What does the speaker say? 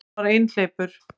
Hann var einhleypur.